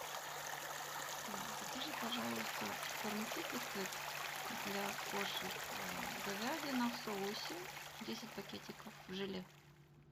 закажи пожалуйста корм китикет для кошек говядина в соусе десять пакетиков желе